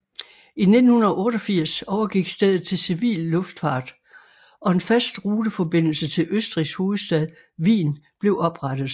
I 1988 overgik stedet til civil luftfart og en fast ruteforbindelse til Østrigs hovedstad Wien blev oprettet